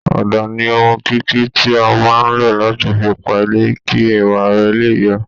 Ọ̀dà ni ohun kíkí tí a máa ń lò láti fi pa ilé kí ẹwà rẹ̀ lè yọ